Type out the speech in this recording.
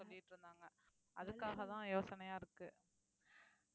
சொல்லிட்டிருந்தாங்க அதுக்காகதான் யோசனையா இருக்கு